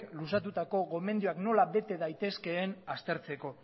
luzatutako gomendioak nola bete daitezkeen aztertzeko